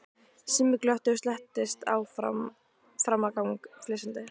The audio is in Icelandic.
Simmi glotti og slettist fram á gang flissandi.